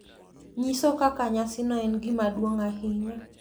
nyiso kaka nyasino en gima duong’ ahinya.